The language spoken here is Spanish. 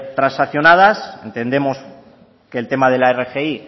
transaccionadas entendemos que el tema de la rgi